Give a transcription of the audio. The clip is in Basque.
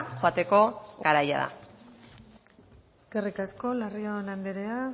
joateko garaia da eskerrik asko larrión andrea